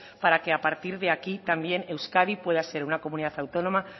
para que a partir de aquí también euskadi pueda ser una comunidad autónoma